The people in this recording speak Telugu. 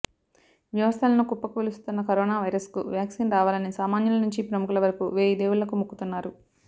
వ్యవస్థలను కుప్పకూలుస్తున్న కరోనా వైరస్కు వ్యాక్సిన్ రావాలని సామాన్యుల నుంచి ప్రముఖుల వరకు వేయి దేవుళ్లకు మొక్కుతున్నారు